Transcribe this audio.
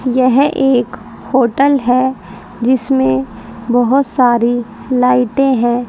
यह एक होटल है जिसमें बहोत सारी लाइटें हैं।